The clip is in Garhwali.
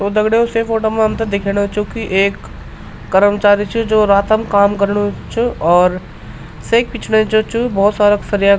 तो दगडियों से फोटो मा हमथे दिखेणु च क्वी एक कर्मचारी च जो रातम काम कर्णु च और सेक पिछने जो च भौत सारा सरिया।